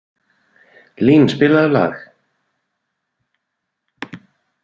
Lín, spilaðu lag.